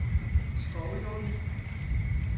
Skovlunde